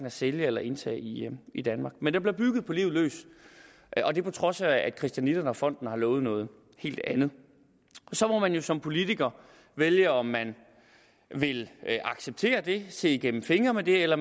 at sælge eller indtage i i danmark men der bliver bygget på livet løs og det på trods af at christianitterne og fonden har lovet noget helt andet så må man jo som politiker vælge om man vil acceptere det se igennem fingre med det eller